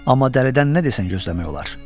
Amma dəlidən nə desən gözləmək olar.